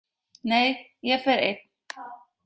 Nei, ég fer einn!